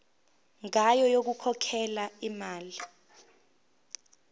ngayo yokukhokhela imali